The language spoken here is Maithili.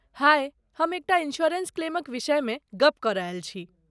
हाय, हम एक टा इंश्योरेंस क्लेमक विषयमे गप्प करय आयल छी।